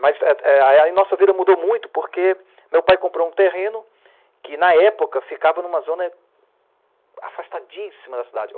Mas eh eh, a nossa vida mudou muito porque meu pai comprou um terreno que na época ficava numa zona afastadíssima da cidade.